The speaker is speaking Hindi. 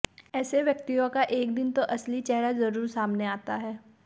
ऐसे व्यक्तियों का एक दिन तो असली चेहरा जरूर सामने आता है